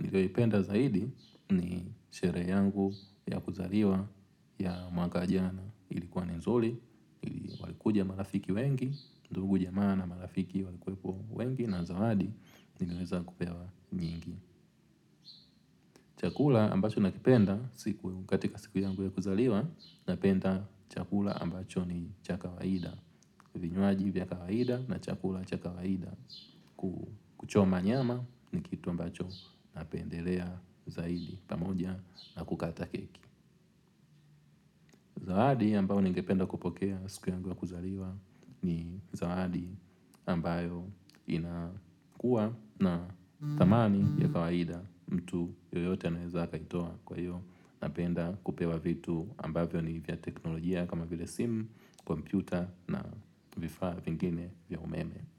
nilipenda zaidi ni shere yangu ya kuzaliwa ya mwaka jana ilikuwa ni nzuli. Kuja marafiki wengi, ndugu jamaa na marafiki wengi na zawadi niliweza kupewa nyingi. Chakula ambacho nakipenda katika siku yangu ya kuzaliwa napenda chakula ambacho ni cha kawaida. Vinywaji vya kawaida na chakula cha kawaida. Kuchoma nyama ni kitu ambacho napendelea zaidi pamoja na kukata keki. Zawadi ambayo ningependa kupokea siku yangu ya kuzaliwa ni zawadi ambayo inakua na tamani ya kawaida mtu yoyote naweza kaitoa kwa hiyo napenda kupewa vitu ambayo ni vya teknolojia kama vile sim, kompyuta na vifaa vingine vya umeme.